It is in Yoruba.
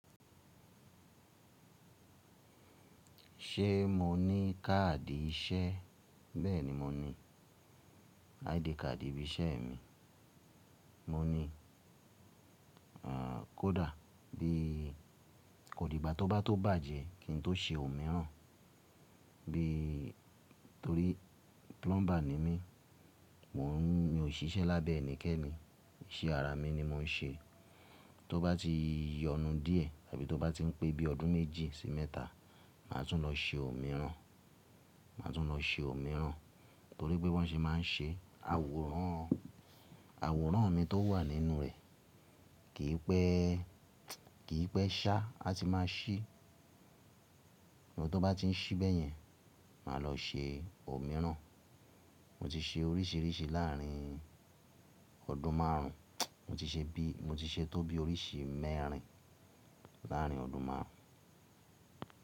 Ṣé mo ní káàdì iṣẹ́? Bẹ́ẹ̀ni mo ní. ID card ibi iṣẹ́ mi. Mo ní, ehn, kódà bí kò di igba tó bá tó bàjẹ́ kí n tó ṣe òmíràn. Bí torí plumber ni mí. Mò n mi ò ṣiṣẹ́ lábẹ́ ẹnikẹ́ni, iṣẹ́ ara mi ni mò ń ṣe. Tó bá ti yọnu díẹ̀ tàbí tó bá ti ń pé bí ọdún méjì sì mẹ́ta, màá tún lọ ṣe òmíràn. Màá tún lọ ṣe òmíràn torí pé wọ́n ṣe máa ń ṣe àwòrán, àwòrán mi tó wà nínú rẹ̀ kì í pẹ́, kì í pẹ́ ṣá, a ti máa ṣí. Bò tó bá ti ń ṣí bẹ́yẹn, màá lọ ṣe òmíràn. Mo ti ṣe oríṣiríṣi láàrin ọdún márùn. Mo ti ṣe bí, mo ti ṣe tó bí oríṣi mẹ́rin láàrin ọdún márùn.